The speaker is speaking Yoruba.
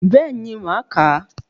Bẹ́ẹ̀ni màá kàá